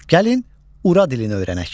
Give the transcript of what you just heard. Gəlin, ura dilini öyrənək.